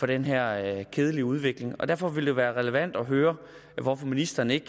den her kedelige udvikling derfor vil det være relevant at høre hvorfor ministeren ikke